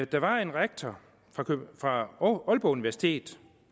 der var en rektor fra aalborg universitet